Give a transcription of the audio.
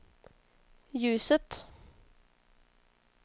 ljuset